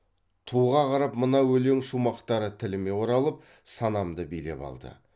туға қарап мына өлең шумақтары тіліме оралып санамды билеп алды